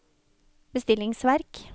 bestillingsverk